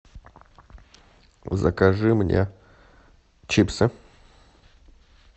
закажи мне чипсы